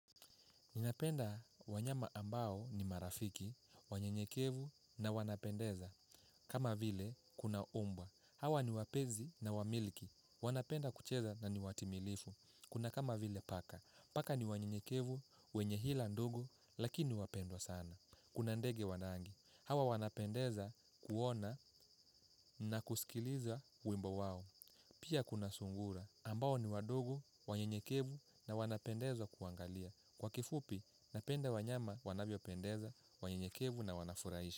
Ninapenda wanyama ambao ni marafiki, wanyenyekevu na wanapendeza, kama vile kuna mbwa. Hawa ni wapenzi na wamiliki, wanapenda kucheza na ni watimilifu, kuna kama vile paka. Paka ni wanyenyekevu, wenye hila ndogo, lakini wapendwa sana. Kuna ndege wa rangi, hawa wanapendeza kuona na kusikiliza wimbo wao. Pia kuna sungura, ambao ni wadogo, wanyenyekevu na wanapendeza kuangalia. Kwa kifupi, napenda wanyama wanavyopendeza, wanyenyekevu na wanafurahishi.